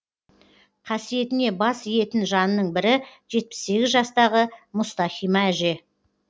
қасиетіне бас иетін жанның бірі жетпіс сегіз жастағы мұстахима әже